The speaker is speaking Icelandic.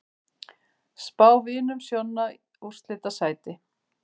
Spá Vinum Sjonna úrslitasæti